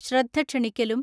ശ്രദ്ധ ക്ഷണിക്കലും